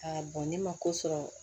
ne ma ko sɔrɔ